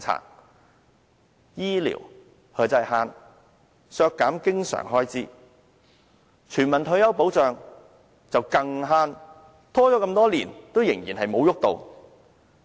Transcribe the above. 對醫療，"慳"、削減經常開支；對全民退休保障，更"慳"，拖延多年仍然沒有落實。